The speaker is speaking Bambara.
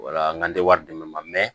Wala n tɛ wari di ne ma